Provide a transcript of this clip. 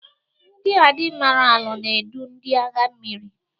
Ndi admiralu na-edu ndị agha mmiri.